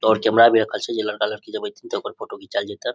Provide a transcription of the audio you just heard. और कैमरा भी रखल छै जेई जब लड़का-लड़की एते ने ते ओकर फोटो भी घिचाल जैते।